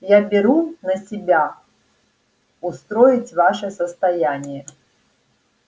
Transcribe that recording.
я беру на себя устроить ваше состояние